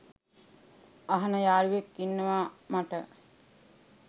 අහන යාලුවෙක් ඉන්නව මට.